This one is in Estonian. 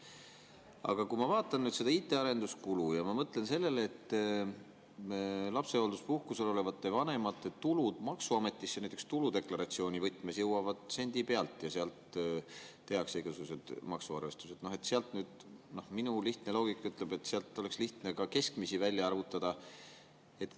Aga kui ma vaatan seda IT‑arenduskulu ja mõtlen sellele, et lapsehoolduspuhkusel olevate vanemate tulud jõuavad maksuametisse näiteks tuludeklaratsiooni võtmes sendi pealt ja sealt tehakse igasugused maksuarvestused, siis lihtne loogika ütleb, et oleks lihtne ka keskmisi välja arvutada.